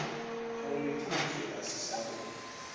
kgaoleditše a sa re o